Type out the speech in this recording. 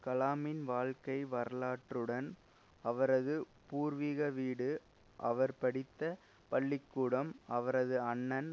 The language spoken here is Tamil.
கலாமின் வாழ்க்கை வரலாற்றுடன் அவரது பூர்வீக வீடு அவர்படித்த பள்ளி கூடம் அவரது அண்ணன்